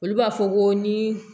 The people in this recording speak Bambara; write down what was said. Olu b'a fɔ ko ni